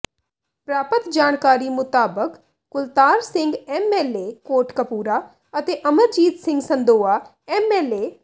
ਪ੍ਰਾਪਤ ਜਾਣਕਾਰੀ ਮੁਤਾਬਕ ਕੁਲਤਾਰ ਸਿੰਘ ਐਮਐਲਏ ਕੋਟਕਪੂਰਾ ਅਤੇ ਅਮਰਜੀਤ ਸਿੰਘ ਸੰਦੋਆ ਐਮਐਲਏ